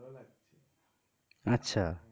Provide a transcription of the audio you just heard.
আচ্ছা.